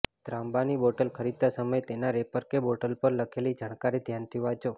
ત્રાંબાની bottle ખરીદતા સમયે તેના રેપર કે બોટલ પર લખેલી જાણકારી ધ્યાનથી વાંચો